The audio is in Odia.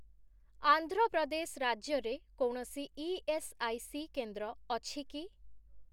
ଆନ୍ଧ୍ର ପ୍ରଦେଶ ରାଜ୍ୟରେ କୌଣସି ଇଏସ୍ଆଇସି କେନ୍ଦ୍ର ଅଛି କି?